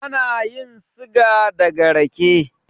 Ana yin siga daga rake